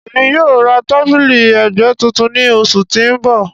Emi yoo ra tabili ẹgbẹ tuntun ni oṣu ti n bọ.